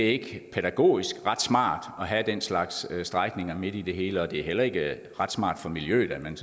ikke pædagogisk ret smart at have den slags strækninger midt i det hele og det er heller ikke ret smart for miljøet at man